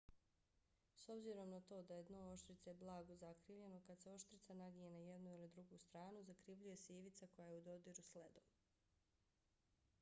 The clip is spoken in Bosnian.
s obzirom na to da je dno oštrice blago zakrivljeno kad se oštrica naginje na jednu ili drugu stranu zakrivljuje se i ivica koja je u dodiru s ledom